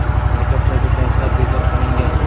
Maktablarda darslar bekor qilingan.